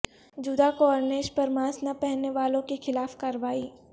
Jeddah corniche پر mask نہ پہننے والوں کے خلاف کارروائی